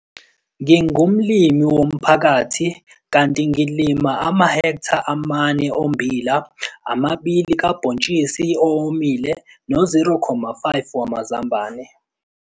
Ngingumlimi womphakathi kanti ngilima amahektha ama-4 ommbila, ama-2 kabhontshisi owomile no-0,5 wamazambane.